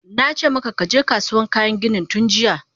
Nace maka kaje Kasuwan kayan ginin tunjiya!